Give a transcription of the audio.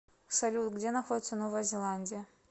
салют где находится новая зеландия